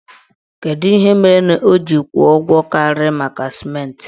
Kedụ ihe mere o ji wee kwụọ ụgwọ karịrị maka sịmentị?